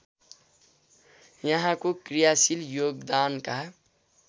यहाँको क्रियाशील योगदानका